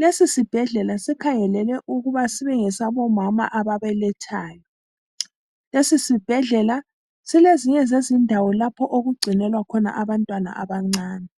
lesi sibhedlela sikhangelele ukuba sibe ngesabo mama ababelethayo. Lesi sibhedlela silezinye zezindawo lapho okugcinwela khona abantwana abancane.